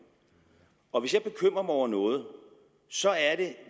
og hvis jeg bekymrer mig over noget så er det